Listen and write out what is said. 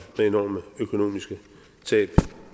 med enorme økonomiske tab